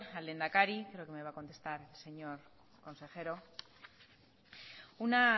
al lehendakari creo que me va a contestar el señor consejero una